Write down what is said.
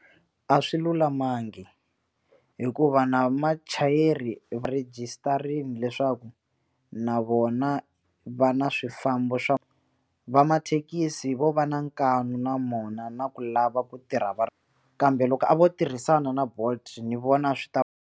A swi lulamangi hikuva na machayeri rejisitarini leswaku na vona va na swifambo swa va mathekisi vo va na nkanu na mona na ku lava ku tirha va ri kambe loko a vo tirhisana na bolt ni vona swi ta.